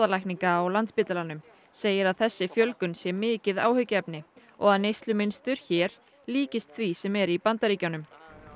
bráðalækninga á Landspítalanum segir að þessi fjölgun sé mikið áhyggjuefni og að neyslumynstur hér líkist því sem er í Bandaríkjunum